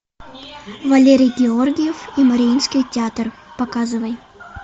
валерий георгиев и мариинский театр показывай